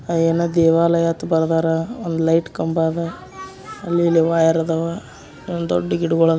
ಅ ಏನೋ ದೇವಾಲಯ ಅಂತ ಬರದಾರ. ಒಂದ್ ಲೈಟ್ ಕಂಬಾ ಅದ. ಅಲ್ಲಿ ಇಲ್ಲಿ ವೈರ್ ಅದಾವ. ಒಂದ್ ದೊಡ್ಡ್ ಗಿಡಂಗೊಳ್ --